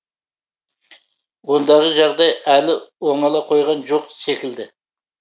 ондағы жағдай әлі оңала қойған жоқ секілді